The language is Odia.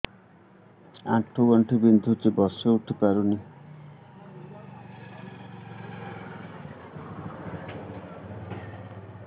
ଆଣ୍ଠୁ ଗଣ୍ଠି ବିନ୍ଧୁଛି ବସିଉଠି ପାରୁନି